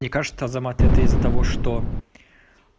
мне кажется азамат это из-за того что